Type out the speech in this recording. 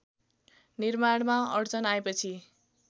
निर्माणमा अड्चन आएपछि